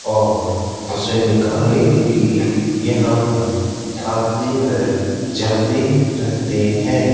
और उसे निकालने के लिए यहां पर आती व जाती रहती हैं।